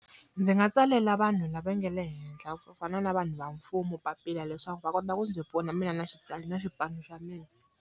Ndzi nga tsalela vanhu lava nge le henhla ku fana na vanhu va mfumo papila leswaku va kota ku ndzi pfuna mina na na xipano xa mina.